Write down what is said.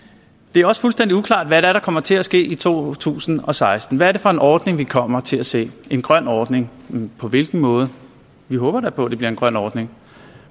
det er også fuldstændig uklart hvad det er der kommer til at ske i to tusind og seksten hvad er det for en ordning vi kommer til at se en grøn ordning men på hvilken måde vi håber da på at det bliver en grøn ordning